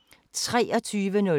DR1